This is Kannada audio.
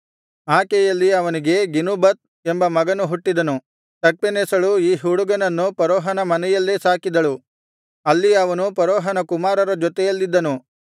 ಆಕೆಯಲ್ಲಿ ಅವನಿಗೆ ಗೆನುಬತ್ ಎಂಬ ಮಗನು ಹುಟ್ಟಿದನು ತಖ್ಪೆನೆಸಳು ಈ ಹುಡುಗನನ್ನು ಫರೋಹನ ಮನೆಯಲ್ಲೇ ಸಾಕಿದಳು ಅಲ್ಲಿ ಅವನು ಫರೋಹನ ಕುಮಾರರ ಜೊತೆಯಲ್ಲಿದ್ದನು